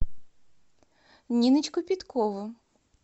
ниночку пяткову